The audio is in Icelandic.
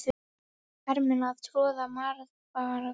Hermenn að troða marvaða.